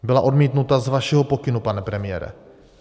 Byla odmítnuta z vašeho pokynu, pane premiére.